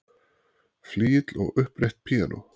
Flygill og upprétt píanó.